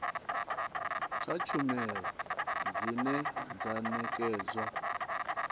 kha tshumelo dzine dza nekedzwa